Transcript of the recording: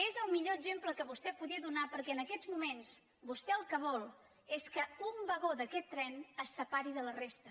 és el millor exemple que vostè podia donar perquè en aquests moments vostè el que vol és que un vagó d’aquest tren es separi de la resta